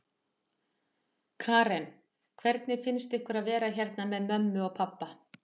Karen: Hvernig finnst ykkur að vera hérna með mömmu og pabba?